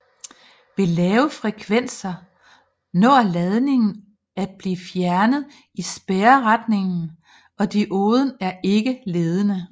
Ved lave frekvenser når ladningen at blive fjernet i spærreretningen og dioden er ikke ledende